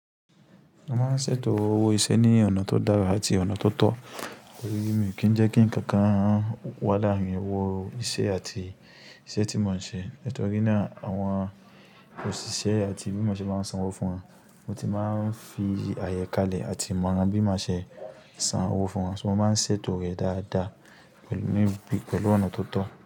Wọ́n máa ń ṣètò owó iṣẹ́ ní ọ̀nà tó dára àti ọ̀nà tó tọ́ tori mí kì ń jẹ́ kí ǹkan kan wà láàárín owó iṣẹ́ àti iṣẹ́ tí wọ́n ń ṣe. Nítorí náà àwọn òṣìṣẹ́ àti bí mo ṣe máa ń san owó fún wọn, mo ti máa ń fi àyẹ́kálẹ̀ àti ìmọ̀ran bí maa ṣe san owó fún wọn, so mo máa ń ṣètò rẹ̀ dáadáa pẹ̀lú mí pẹ̀lú ọ̀nà tó tọ́.